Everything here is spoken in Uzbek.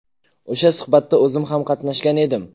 O‘sha suhbatda o‘zim ham qatnashgan edim.